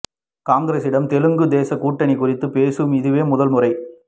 காங்கிரஸுடன் தெலுங்கு தேசம் கூட்டணி குறித்து பேசுவது இதுவே முதல் முறை